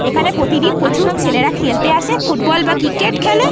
এইখানে প্রতিদিন প্রচুর ছেলেরা খেলতে আসে। ফুটবল বা ক্রিকেট খেলে।